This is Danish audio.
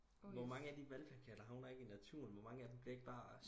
hvor mange af de valgplakater havner ikke i naturen hvor mange af dem bliver ikke bare